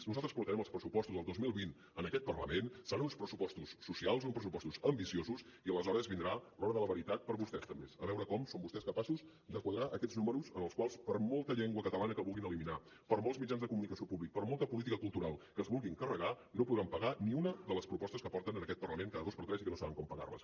nosaltres portarem els pressupostos del dos mil vint en aquest parlament seran uns pressupostos socials uns pressupostos ambiciosos i aleshores vindrà l’hora de la veritat per a vostès també a veure com són vostès capaços de quadrar aquests números en els quals per molta llengua catalana que vulguin eliminar per molts mitjans de comunicació públics per molta política cultural que es vulguin carregar no podran pagar ni una de les propostes que porten en aquest parlament cada dos per tres i que no saben com pagar les